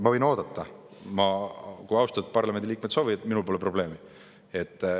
Ma võin oodata, kui austatud parlamendiliikmed soovivad, minul pole probleemi.